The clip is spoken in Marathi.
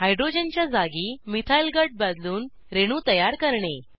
हाइड्रोजन च्या जागी मिथाइल गट बदलून रेणू तयार करणे